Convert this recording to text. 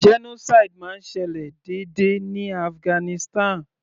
Genocide máa ń ṣẹlẹ̀ déédé ní Afghanistan.